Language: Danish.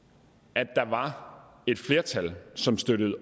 at der var et flertal som støttede